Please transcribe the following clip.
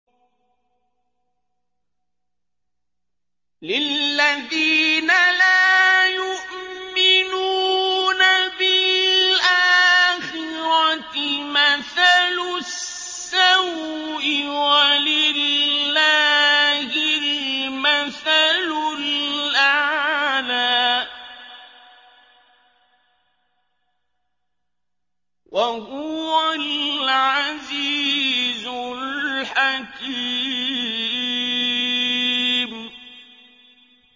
لِلَّذِينَ لَا يُؤْمِنُونَ بِالْآخِرَةِ مَثَلُ السَّوْءِ ۖ وَلِلَّهِ الْمَثَلُ الْأَعْلَىٰ ۚ وَهُوَ الْعَزِيزُ الْحَكِيمُ